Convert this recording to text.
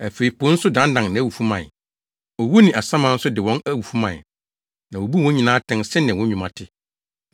Afei po nso dannan nʼawufo mae. Owu ne asaman nso de wɔn awufo mae. Na wobuu wɔn nyinaa atɛn sɛnea wɔn nnwuma te.